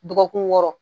Dɔgɔkun wɔɔrɔ